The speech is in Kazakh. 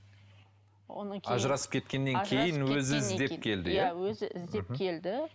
одан кейін ажырасып кеткеннен кейін өзі іздеп келді иә иә өзі іздеп келді